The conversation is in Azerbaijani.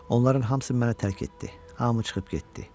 Onların hamısı məni tərk etdi, hamısı çıxıb getdi.